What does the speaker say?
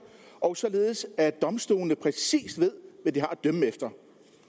og således at domstolene præcis ved hvad de har at dømme efter